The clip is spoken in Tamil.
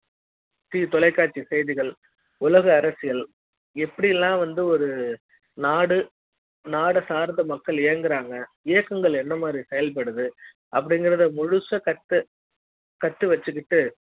தொலைக்காட்சி செய்திகள் உலக அரசியல் எப்படி ல்லாம் வந்து ஒரு நாடு நாட சார்ந்த மக்கள் இ ங்குறாங்க இயக்கங்கள் என்ன மாதிரி செயல் படுது அப்டிங்கறது முழுசா கத்து கத்துவச்சிக்கிட்டு